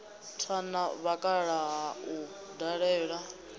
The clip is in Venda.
tha na vhakalaha u ṱalela